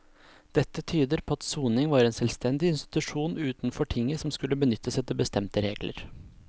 Dette tyder på at soning var en selvstendig institusjon utenfor tinget som skulle benyttes etter bestemte regler.